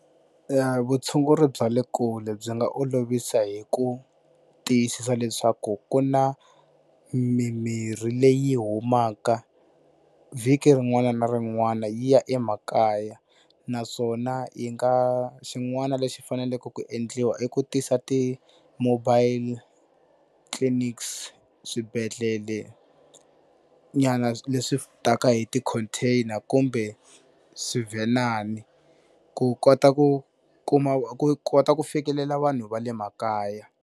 Vutshunguri bya le kule byi nga olovisa hi ku tiyisisa leswaku ku na mimirhi leyi humaka vhiki rin'wana na rin'wana yi ya emakaya, naswona yi nga xin'wana lexi faneleke ku endliwa i ku tisa ti-mobile clinics, swibedhlelenyana leswi taka hi ti-container kumbe swivhenana ku kota ku kuma ku kota ku fikelela vanhu va le makaya.